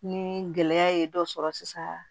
Ni gɛlɛya ye dɔ sɔrɔ sisan